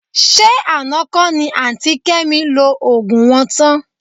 Ṣé àná kọ́ ni àǹtí Kẹ́mi lo òògùn wọn tán?